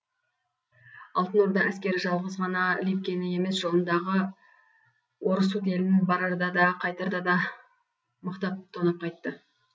алтын орда әскері жалғыз ғана либкені емес жолындағы орұсут елін барарда да қайтарда да мықтап тонап қайтты